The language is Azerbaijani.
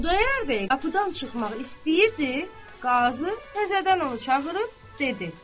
Xudayar bəy qapıdan çıxmaq istəyirdi, qazı təzədən onu çağırıb dedi.